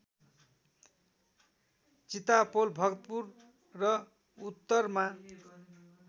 चितापोल भक्तपुर र उत्तरमा